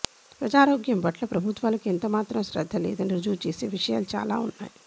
ప్రజారోగ్యం పట్ల ప్రభుత్వాలకు ఎంతమాత్రం శ్రద్ధ లేదని రుజువు చేసే విషయాలు చాలా ఉన్నాయి